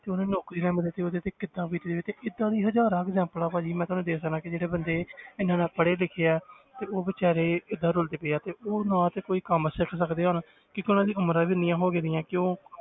ਤੇ ਉਹਨੂੰ ਨੌਕਰੀ ਨਾ ਮਿਲੇ ਤੇ ਉਹਦੇ ਤੇ ਕਿੱਦਾਂ ਬੀਤ ਰਹੀ ਹੋਈ ਤੇ ਏਦਾਂ ਦੀ ਹਜ਼ਾਰਾਂ examples ਭਾਜੀ ਮੈਂ ਤੁਹਾਨੂੰ ਦੇ ਸਕਦਾਂ ਕਿ ਜਿਹੜੇ ਬੰਦੇ ਇੰਨਾ ਇੰਨਾ ਪੜ੍ਹੇ ਲਿਖੇ ਹੈ ਤੇ ਉਹ ਬੇਚਾਰੇ ਕਿੱਦਾਂ ਰੁਲਦੇ ਪਏ ਹੈ ਤੇ ਉਹ ਨਾ ਤੇ ਕੋਈ ਕੰਮ ਸਿੱਖ ਸਕਦੇ ਹੈ ਹੁਣ, ਕਿਉਂਕਿ ਉਹਨਾਂ ਦੀਆਂ ਉਮਰਾਂ ਵੀ ਇੰਨੀਆਂ ਹੋ ਗਈਆਂ ਕਿਉਂ